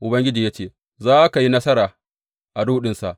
Ubangiji ya ce, Za ka yi nasara a ruɗinsa.